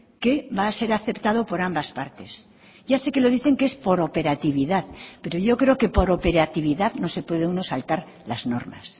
que va a ser aceptado por ambas partes ya sé que lo dicen que es por operatividad pero yo creo que por operatividad no se puede uno saltar las normas